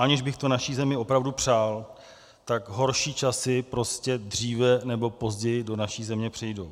Aniž bych to naší zemi opravdu přál, tak horší časy prostě dříve nebo později do naší země přijdou.